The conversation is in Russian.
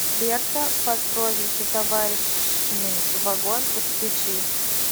берта по прозвищу товарный вагон подключи